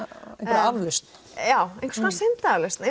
aflausn já einhvers konar syndaaflausn